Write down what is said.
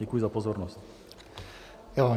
Děkuji za pozornost.